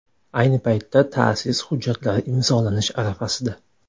Ayni paytda ta’sis hujjatlari imzolanish arafasida.